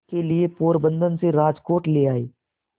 के लिए पोरबंदर से राजकोट ले आए